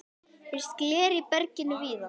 Finnst gler í berginu víða.